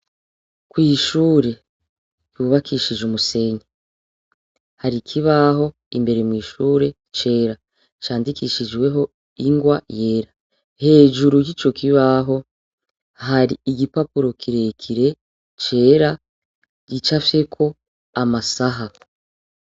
Kw'ishure ryubakishije umusenyi hari ikibaho imbere mw'ishure cera candikishijweho ingwa yera hejuru y'ico kibaho hari igipapuro kirekire cera gicafyeko amasaha.